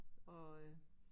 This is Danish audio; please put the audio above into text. Og øh